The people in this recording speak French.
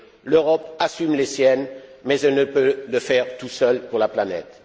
L'Europe assume les siennes, mais elle ne peut le faire toute seule pour la planète.